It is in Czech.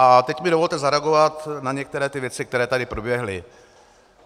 A teď mi dovolte zareagovat na některé ty věci, které tady proběhly.